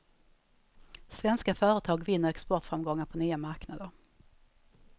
Svenska företag vinner exportframgångar på nya marknader.